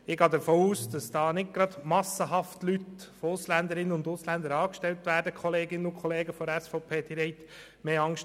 Ich gehe davon aus, dass nicht massenhaft Ausländerinnen und Ausländer angestellt werden, wie es meine Kolleginnen und Kollegen der SVP befürchten mögen.